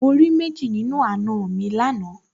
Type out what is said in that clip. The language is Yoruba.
Mo rí méjì nínú àna mi lánàá